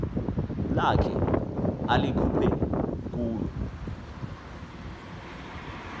lakhe alikhuphe kulo